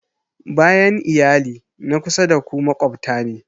Bayan iyali, na kusa da ku maƙwabta ne